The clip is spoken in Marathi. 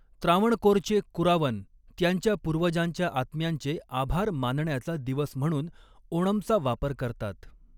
त्रावणकोरचे कुरावन त्यांच्या पूर्वजांच्या आत्म्यांचे आभार मानण्याचा दिवस म्हणून ओणमचा वापर करतात.